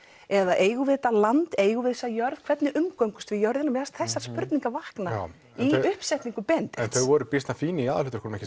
eða eigum við þetta land eigum við þessa jörð hvernig umgöngumst við jörðina mér fannst þessar spurningar vakna í uppsetningu Benedikts þau voru býsna fín í aðalhlutverkum ekki